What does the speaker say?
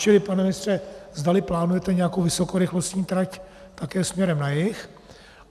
Čili, pane ministře, zdali plánujete nějakou vysokorychlostní trať také směrem na jih.